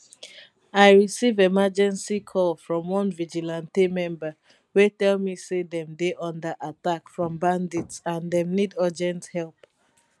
i receive emergency call from one vigilante member wey tell me say dem dey under attack from bandits and dem need urgent help